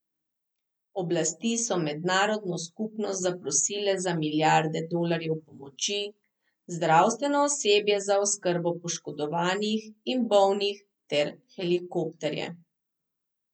Oblasti so mednarodno skupnost zaprosile za milijarde dolarjev pomoči, zdravstveno osebje za oskrbo poškodovanih in bolnih ter helikopterje.